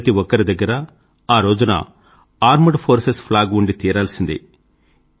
ప్రతి ఒక్కరి దగ్గరా ఆ రోజున ఆర్మెడ్ ఫోర్సెస్ ఫ్లాగ్ ఉండి తీరాల్సిందే